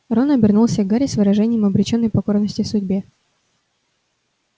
рон обернулся к гарри с выражением обречённой покорности судьбе